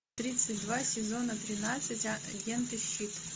тридцать два сезона тринадцать агенты щит